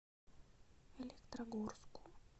электрогорску